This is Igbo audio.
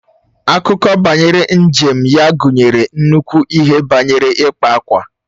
Akụkọ banyere njem ya gụnyere nnukwu ihe banyere ịkpa ákwà